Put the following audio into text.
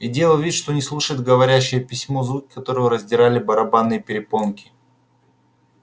и делал вид что не слушает говорящее письмо звуки которого раздирали барабанные перепонки